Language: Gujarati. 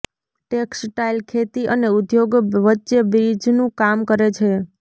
ટેક્સટાઇલ ખેતી અને ઉદ્યોગ વચ્ચે બ્રિજનું કામ કરે છે